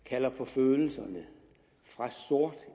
kalder på følelserne fra sort